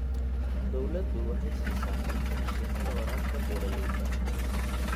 Dawladdu waxay siisaa kabka mishiinada waraabka beeralayda.